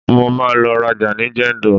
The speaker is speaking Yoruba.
mo ma lo raja ni jendol